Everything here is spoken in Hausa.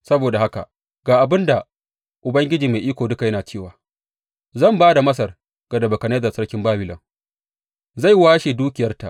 Saboda haka ga abin da Ubangiji Mai Iko Duka yana cewa zan ba da Masar ga Nebukadnezzar sarkin Babilon, zai washe dukiyarta.